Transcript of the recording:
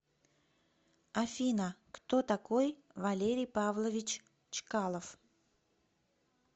афина кто такой валерий павлович чкалов